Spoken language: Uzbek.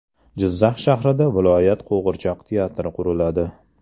Jizzax shahrida viloyat qo‘g‘irchoq teatri quriladi.